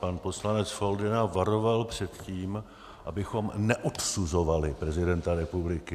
Pan poslanec Foldyna varoval před tím, abychom neodsuzovali prezidenta republiky.